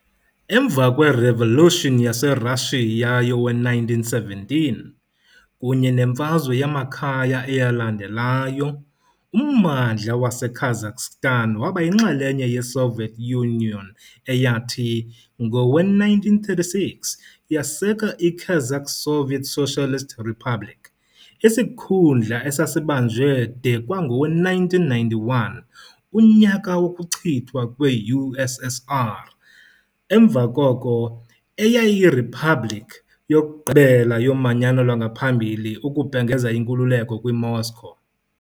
Emva kweRevolution yaseRashiya yowe-1917 kunye nemfazwe yamakhaya eyalandelayo, ummandla waseKazakhstan waba yinxalenye yeSoviet Union eyathi, ngowe-1936, yaseka iKazakh Soviet Socialist Republic, isikhundla esasibanjwe de kwangowe-1991, unyaka wokuchithwa kwe-USSR, emva koko. eyayiyiriphabliki yokugqibela yoManyano lwangaphambili ukubhengeza inkululeko kwiMoscow .